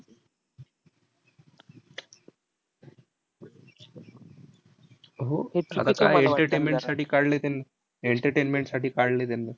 हो. आता काय entertainment साठी काढलंय त्यांनी, entertainment साठी काढलंय त्यांना.